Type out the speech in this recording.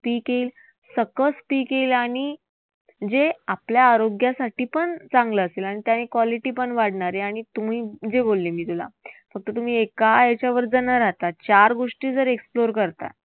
पीक येईल. सकस पीक येईल आणि जे आपल्या आरोग्यासाठीपण चांगलं असेल. आणि त्याने quality पण वाढणार आहे. आणि तुम्ही जे बोलले मी तुला, फक्त तुम्ही एका याच्यावरच न राहता चार गोष्टी जर एकत्र करता